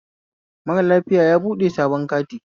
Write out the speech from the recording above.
Mara lafiya yabuɗe sabon kati